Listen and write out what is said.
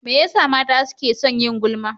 Me yasa mata suke son yin gulma?